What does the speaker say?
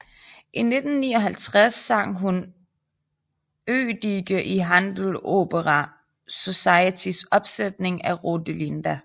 I 1959 sang hun Eduige i Handel Opera Societys opsætning af Rodelinda